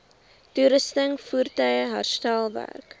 toerusting voertuie herstelwerk